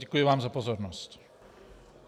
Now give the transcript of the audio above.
Děkuji vám za pozornost.